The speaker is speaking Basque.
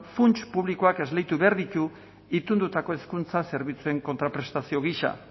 funts publikoak esleitu behar ditu itundutako hezkuntza zerbitzuen kontraprestazio gisa